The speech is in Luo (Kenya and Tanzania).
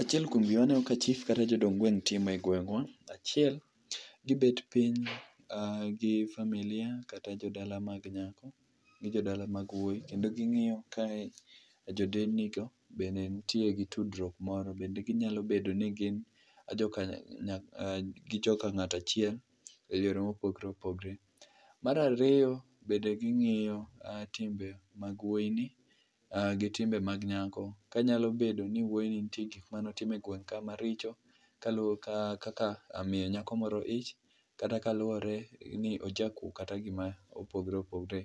Achiel kuom gik maneno ka chief kata jodong gweng' timo e gweng'wa, achiel gibet piny gi familia kata jodala mag nyako gi jodala mag wuoyi kendo ging'iyo ka jodelnigo bende nitie gi tudruok moro, bende ginyalo bedo ni gi jok gin joka ng'ato achiel e yore mopogore opogore. Mar ariyo, bende ging'iyo timbe mag woyini gitimbe mag nyako, kanyalo bedo ni wuoyini nitie gik mane otimo e gweng' ka maricho, kaka miyi ng'ato moro ich, kata kaluore ni ojakuwo kata gima opogore opogore.